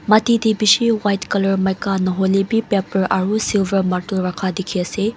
mati te beshi white colour maika nahoilebi paper aro silver martul rakha dekhi ase.